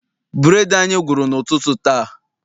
Bureedi anyị gwụrụ n'ụtụtụ taa.